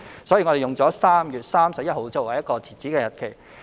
所以，我們便以3月31日作為截止日期。